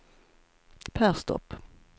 Perstorp